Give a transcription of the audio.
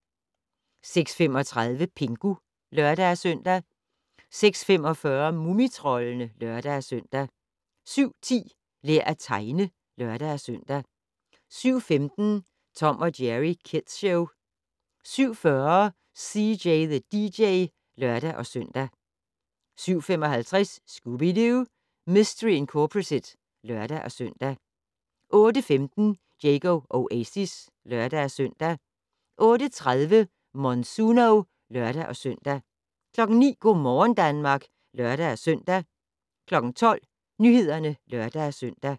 06:35: Pingu (lør-søn) 06:45: Mumitroldene (lør-søn) 07:10: Lær at tegne (lør-søn) 07:15: Tom & Jerry Kids Show 07:40: CJ the DJ (lør-søn) 07:55: Scooby-Doo! Mistery Incorporated (lør-søn) 08:15: Diego Oasis (lør-søn) 08:30: Monsuno (lør-søn) 09:00: Go' morgen Danmark (lør-søn) 12:00: Nyhederne (lør-søn)